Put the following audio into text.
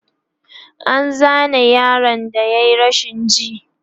an Zane yaron da yayi rashin ji